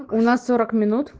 у нас сорок минут